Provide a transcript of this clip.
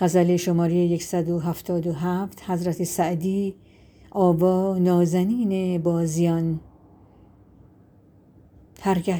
هر گه